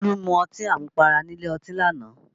Bólú mu ọtí àmupara nílé ọtí lánàá